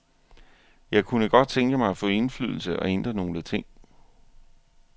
Jeg kunne godt tænke mig at få indflydelse og ændre nogle ting.